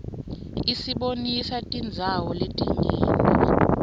isibonisa tindzawo letinyenti